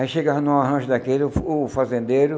Aí chegava numa rancha daquele, o o fazendeiro,